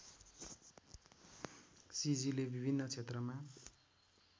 सिजीले विभिन्न क्षेत्रमा